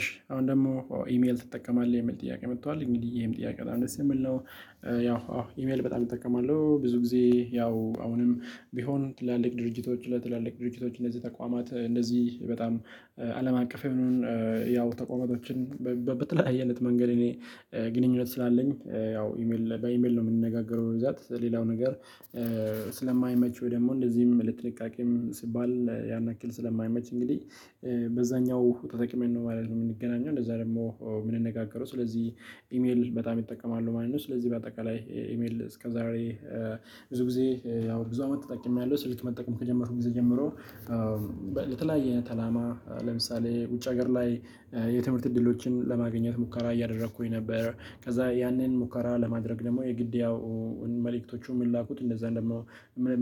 እሺ አሁን ደግሞ ኢሜል ትጠቀማለህ የሚል ጥያቄ መጥቷል እንግዲህ ይሄም ጥያቄ በጣም ደስ ነው የሚል ነው። ያው አዎ ኢሜል በጣም እጠቀማለሁ ብዙ ጊዜ ያው አሁንም ቢሆን ትላልቅ ድርጅቶች ለትላልቅ ድርጅቶች እንደዚህ ተቋማት እንደዚህ በጣም አለም አቀፍ እሺ አሁን ደግሞ ኢሜል ትጠቀማለህ የሚል ጥያቄ መጥቷል። እንግዲህ ይሄም ጥያቄ በጣም ደስ ነው የሚል ነው። ያው አዎ ኢሜል በጣም እጠቀማለሁ ብዙ ጊዜ ያው አሁንም ቢሆን ትላልቅ ድርጅቶች ለትላልቅ ድርጅቶች እንደዚህ ተቋማት እንደዚህ በጣም አለም አቀፍ ያው ተቋማቶችን በተለያየ አይነት። መንገድ እኔ ግንኙነት ስላለኝ ያው ኢሜል በኢሜል ነው የምንነጋገረው ብዛት ላለው ነገር። ስለማይመች ወይ ደግሞ እንደዚህም ለጥንቃቄም ሲባል ያን ያክል ስለማይመች እንግዲህ በዛኛው ተጠቅመን ነው ማለት ነው። የምንገናኘው እንደዛ ደግሞ የምንነጋገረው ስለዚህ ኢሜል በጣም እጠቀማለሁ ማለት ነው። ስለዚህ በአጠቃላይ ኢሜል እስከ ዛሬ ብዙ ጊዜ ያው ብዙ አመት ተጠቅሜያለሁ ስልክ መጠቀም ከጀመርኩ ጊዜ ጀምሮ። መልእክቶቹ የሚላኩት እንደዛም ደግሞ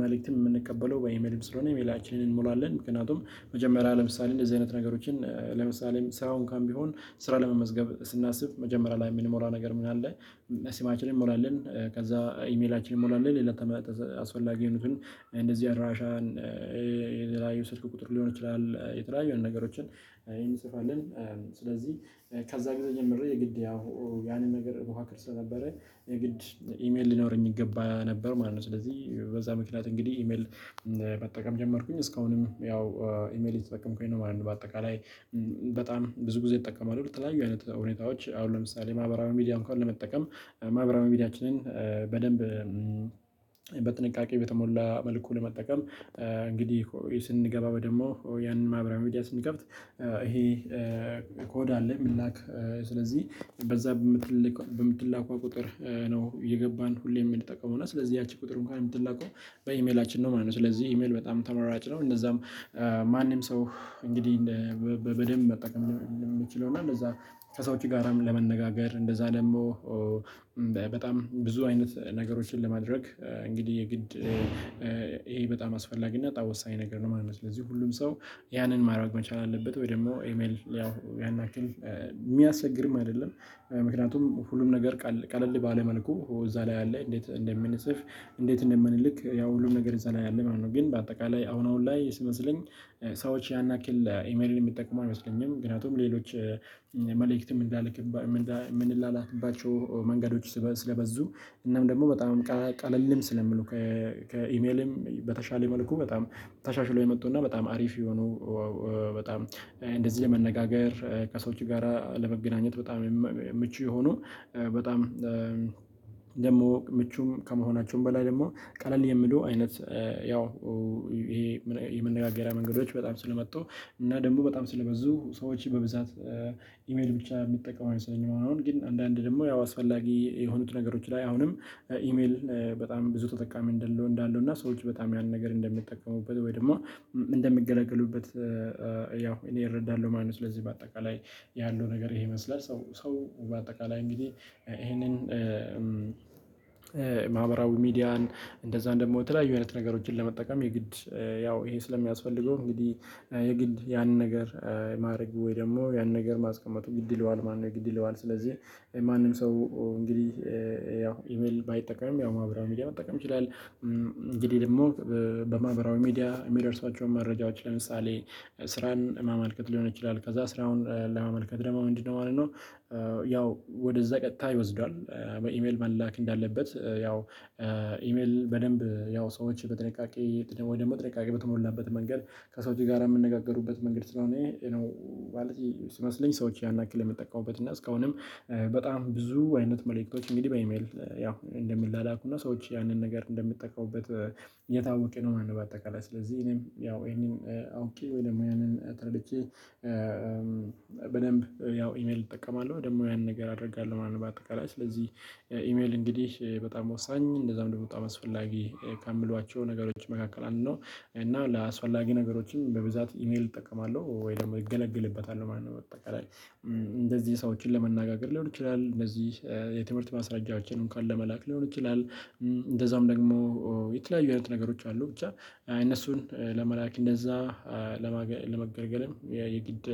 መልእክት የምንቀበለው በኢሜልም ስለሆነ ኢሜላችንን እንሞላለን። ምክንያቱም መጀመሪያ ለምሳሌ እንደዚህ አይነት ነገሮችን ለምሳሌ ስራ እንኳን ቢሆን ስራ ለመመዝገብ ስናስብ መጀመሪያ ላይ የምንሞላ ነገር ምን አለ? ስማችንን እንሞላለን ከዛ ኢሜላችን እንሞላለን ሌላ አስፈላጊ የሆኑትን እንደዚህ አድራሻን የተለያዩ ስልክ ቁጥር ሊሆን ይችላል የተለያዩ አይነት ነገሮችን እንጽፋለን። ስለዚህ ከዛ ጊዜ ጀምሬ የግድ ያው ያንን ነገር እሞካክር ስለነበረ የግድ ኢሜል ሊኖረኝ ይገባ ነበር ማለት ነው። ስለዚህ በዛ ምክንያት እንግዲህ ኢሜል መጠቀም ጀመርኩኝ እስካሁንም ያው ኢሜል እየተጠቀምኩኝ ነው ማለት ነው። በአጠቃላይ የተለያዩ ስልክ ቁጥር ሊሆን ይችላል የተለያዩ አይነት ነገሮችን እንጽፋለን። ስለዚህ ከዛ ጊዜ ጀምሬ የግድ ያው ያንን ነገር እሞካክር ስለነበረ የግድ ኢሜል ሊኖረኝ ይገባ ነበር ማለት ነው። ስለዚህ በዛ ምክንያት እንግዲህ ኢሜል በጥንቃቄ በተሞላ መልኩ ለመጠቀም እንግዲህ ስንገባ ወይ ደግሞ ያንን ማህበራዊ ሚዲያ ስንከፍት ይሄ ኮድ አለ። የሚላክ ስለዚህ በዛ በምትሌክ በምትላከዋ ቁጥር ነው እየገባን ሁሌም የምንጠቀመው እና ስለዚህ ያቺ ቁጥር እንኳን የምትላከው በኢሜላችን ነው ማለት ነው ስለዚህ ኢሜል በጣም ተመራጭ ነው። እነዛም ማንም ሰው እንግዲህ በደንብ መጠቀም የምንችለው እና እነዛ ከሰዎች ጋራም ለመነጋገር እንደዛ ደግሞ በጣም ብዙ አይነት ነገሮችን ለማድረግ እንግዲህ የግድ ይሄ በጣም አስፈላጊ እና በጣም ወሳኝ ነገር ነው ማለት ነው። ስለዚህ ሁሉም ሰው ያንን ማድረግ መቻል አለበት ወይ ደግሞ ኢሜል ያው ያን ያክል የሚያስቸግርም አይደለም። ምክንያቱም ሁሉም ነገር ቀለል ባለ መልኩ እዛ ላይ አለ እንዴት እንደምንፅፍ እንዴት እንደምንልክ ያው ሁሉም ነገር እዛ ላይ አለ ማለት ነው። ግን በአጠቃላይ አሁን አሁን ላይ ሲመስለኝ ሰዎች ያንያክል ኢሜልን የሚጠቀሙ አይመስለኝም። ምክንያቱም ሌሎች መልእክት የምንላልክባቸው የምንላላክባቸው መንገዶች ስለበዙ እናም ደግሞ በጣም ቀለልም ስለሚሉ ከኢሜልም በተሻለ መልኩ በጣም ተሻሽሎ የመጡና በጣም አሪፍ የሆኑ በጣም እንደዚህ ለመነጋገር ከሰዎች ጋራ ለመገናኘት በጣም ምቹ የሆኑ በጣም ደግሞ ምቹም ከመሆናቸውም በላይ ደግሞ ቀለል የሚሉ አይነት ያው ይሄ የመነጋገሪያ መንገዶች በጣም ስለመጡ እና ደግሞ በጣም ስለበዙ ሰዎች በብዛት ኢሜል ብቻ የሚጠቀሙ አይመስለኝም። አሁን ግን አንዳንዴ ደግሞ ያው አስፈላጊ የሆኑት ነገሮች ላይ አሁንም ኢሜል በጣም ብዙ ተጠቃሚ እንዳለው እና ሰዎች በጣም ያን ነገር እንደሚጠቀሙበት ወይ ደግሞ እንደሚገለገሉበት ያው እኔ እረዳለሁ ማለት ነው። ስለዚህ በአጠቃላይ ያለው ነገር ይሄ ይመስላል ሰው ሰው በአጠቃላይ እንግዲህ ይሄንን ማህበራዊ ሚዲያን እንደዛም ደግሞ የተለያዩ አይነት ነገሮችን ለመጠቀም የግድ ያው ይሄ ስለሚያስፈልገው እንግዲህ የግድ ያንን ነገር ማድረግ ወይ ደግሞ ያንን ነገር ማስቀመጡ ግድ ይለዋል ማለት ነው። የግድ ይለዋል ስለዚህ ማንም ሰው እንግዲህ ያው ኢሜል ባይጠቀምም ያው ማህበራዊ ሚዲያ መጠቀም ይችላል። እንግዲህ ደግሞ በማህበራዊ ሚዲያ የሚደርሷቸውን መረጃዎች ለምሳሌ ስራን ማመልከት ሊሆን ይችላል ከዛ ስራውን ለማመልከት ደግሞ ምንድነው ማለት ነው? ያው ወደዛ ቀጥታ ይወስደዋል። በኢሜል መላክ እንዳለበት ያው ኢሜል በደንብ ያው ሰዎች በጥንቃቄ ወይ ደግሞ ጥንቃቄ በተሞላበት መንገድ ከሰዎች ጋር የሚነጋገሩበት መንገድ ስለሆነ ይሄ ማለት ሲመስለኝ ሰዎች ያን ያክል የሚጠቀሙበት እና እስካሁንም በጣም ብዙ አይነት መልእክቶች እንግዲህ በኢሜል ያው እንደሚላላኩና ሰዎች ያንን ነገር እንደሚጠቀሙበት የታወቀ ነው ማለት ነው። በአጠቃላይ ስለዚህ እኔም ያው ይሄንን አውቄ ወይ ደግሞ ያንን ተረድቼ በደንብ ያው ኢሜል እጠቀማለሁ ወይ ደግሞ ያንን ነገር አደርጋለሁ ማለት ነው። በአጠቃላይ ስለዚህ ኢሜል እንግዲህ በጣም ወሳኝ እንደዛም ደግሞ በጣም አስፈላጊ ከምሏቸው ነገሮች መካከል አንድ ነው። እና ለአስፈላጊ ነገሮችም በብዛት ኢሜል እጠቀማለሁ ወይ ደግሞ እገለገልበታለሁ ማለት ነው። እንደዚህ ሰዎችን ለመነጋገር ሊሆን ይችላል እንደዚህ የትምህርት ማስረጃችንን ካለ መላክ ሊሆን ይችላል። እንደዛም ደግሞ የተለያዩ አይነት ነገሮች አሉ ብቻ እነሱን ለመላክ እንደዛ ለመገልገልም የግድ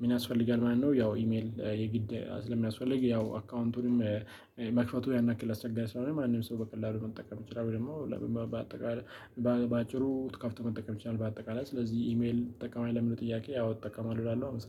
ምን ያስፈልጋል ማለት ነው? ያው ኢሜል የግድ ስለሚያስፈልግ ያው አካውንቱንም መክፈቱ ያን ያክል አስቸጋሪ ስላልሆነ ማንም ሰው በቀላሉ መጠቀም ይችላል። ወይ ደግሞ በአጠቃላይ በአጭሩ ትከፍቶ መጠቀም ይችላል። በአጠቃላይ ስለዚህ ኢሜል ትጠቀማለህ ለሚለው ጥያቄ ያው እጠቀማለሁ እላለሁ አመሰግናለሁ